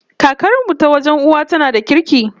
Kakar mu ta wajen uwa tana da kirki